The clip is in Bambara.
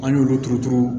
An y'olu turu turu